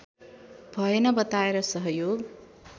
भएन बताएर सहयोग